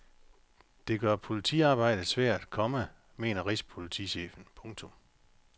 Det gør politiarbejdet svært, komma mener rigspolitichefen. punktum